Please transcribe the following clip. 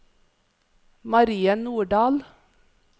Marie Nordal